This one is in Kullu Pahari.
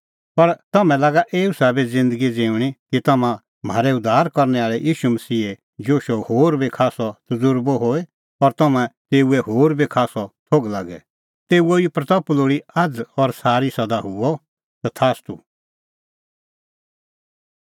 पर तम्हैं लागा एऊ साबै ज़िन्दगी ज़िऊंणीं कि तम्हां म्हारै उद्धार करनै आल़ै ईशू मसीहे जशो होर बी खास्सअ तज़ुर्बअ होए और तम्हां तेऊओ होर बी खास्सअ थोघ लागे तेऊए ई महिमां लोल़ी आझ़ और सारी सदा हुई तथास्तू